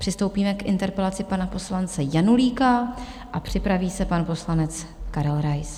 Přistoupíme k interpelaci pana poslance Janulíka a připraví se pan poslanec Karel Rais.